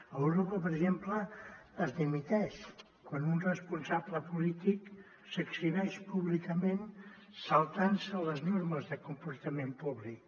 a europa per exemple es dimiteix quan un responsable polític s’exhibeix públicament saltantse les normes de comportament públic